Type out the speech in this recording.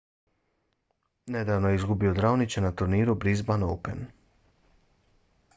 nedavno je izgubio od raonića na turniru brisban open